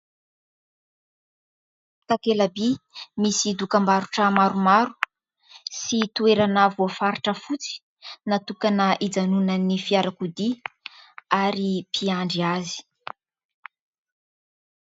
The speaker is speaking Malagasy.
Takelabỳ misy dokambarotra maromaro sy toerana voafaritra fotsy natokana ijanonan'ny fiarakodia ary mpiandry azy.